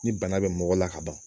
Ni bana bɛ mɔgɔ la ka ban